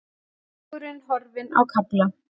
Vegurinn horfinn á kafla